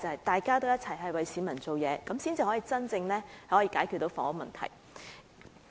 大家都有應該為市民做事的心態，才能真正解決房屋問題。